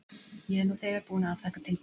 Ég er nú þegar búin að afþakka tilboð.